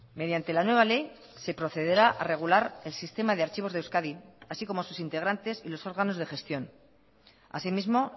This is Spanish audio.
mediante la nueva ley se procederá a regular el sistema de archivos de euskadi así como sus integrantes y los órganos de gestión así mismo